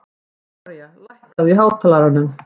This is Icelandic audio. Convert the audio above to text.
Gloría, lækkaðu í hátalaranum.